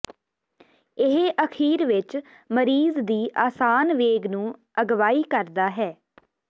ਇਹ ਅਖੀਰ ਵਿੱਚ ਮਰੀਜ਼ ਦੀ ਆਸਾਨ ਵੇਗ ਨੂੰ ਅਗਵਾਈ ਕਰਦਾ ਹੈ